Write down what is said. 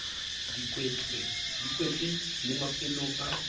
di kwetswe le mafelong a